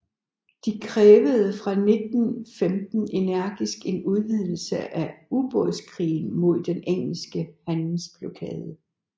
De krævede fra 1915 energisk en udvidelse af ubådskrigen mod den engelske handelsblokade